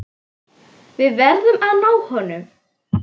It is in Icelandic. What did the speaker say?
Við verðum að ná honum.